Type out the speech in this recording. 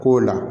K'o la